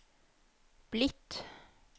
blitt